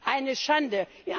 Es ist eine Schande!